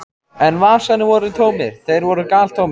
En vasarnir voru tómir, þeir voru galtómir.